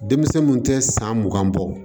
Denmisɛn mun tɛ san mugan bɔ